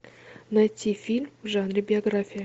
найти фильм в жанре биография